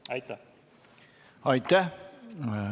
Aitäh!